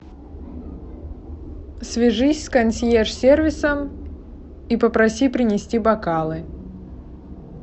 свяжись с консьерж сервисом и попроси принести бокалы